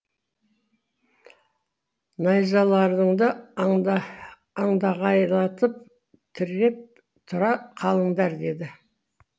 найзаларыңды андағайлатып тіреп тұра қалыңдар деді